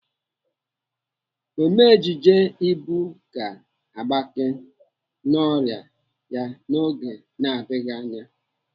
Ome ejije Ibu ga-agbake n'ọrịa ya n'oge na-adịghị anya.